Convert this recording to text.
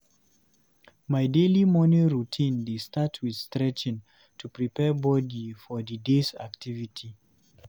My daily morning routine dey start with stretching to prepare body for the day's activities.